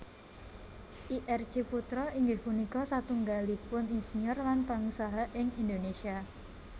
Ir Ciputra inggih punika satunggalipun insinyur lan pangusaha ing Indonesia